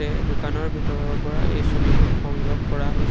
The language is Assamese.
এই দোকানৰ ভিতৰৰ পৰা এই ছবিখন সংগ্ৰহ কৰা হৈছে।